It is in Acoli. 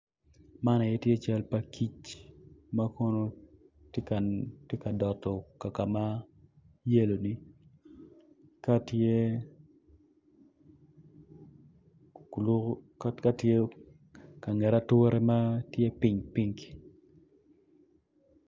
Man tye cal pa kic ma kono tye ka doto kaka ma yelo ni ka tye ka nget ature ma tye pikpik.